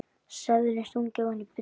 Seðlum stungið ofan í buddu.